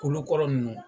Kolokɔrɔ nunnu